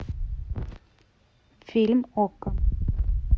фильм окко